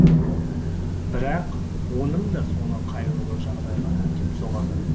бірақ оның да соңы қайғылы жағдайға әкеп соғады